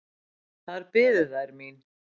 Þar biðu þær mín.